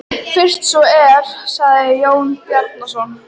Fyrst svo er, sagði Jón Bjarnason.